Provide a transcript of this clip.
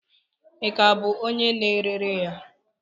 Ị ka bụ onye na-ere ya?